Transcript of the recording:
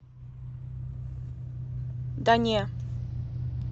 да не